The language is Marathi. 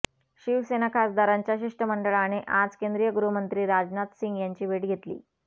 शिवसेना खासदारांच्या शिष्टमंडळाने आज केंद्रीय गृहमंत्री राजनाथ सिंह यांची भेट घेतली